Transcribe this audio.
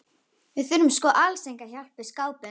Við þurftum sko alls enga hjálp við skápinn.